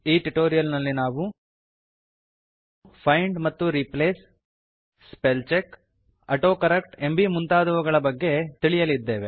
ಈ ಟ್ಯುಟೋರಿಯಲ್ ನಲ್ಲಿ ನಾವು ಫೈಂಡ್ ಮತ್ತು replace spell check autocorrect ಎಂಬೀ ಮುಂತಾದವುಗಳ ಬಗ್ಗೆ ತಿಳಿಯಲಿದ್ದೇವೆ